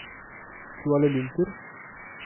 Kuala Lumpur